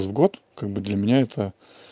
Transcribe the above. в год как бы для меня это